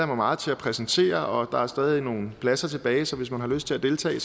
mig meget til at præsentere og der er stadig nogle pladser tilbage så hvis man har lyst til at deltage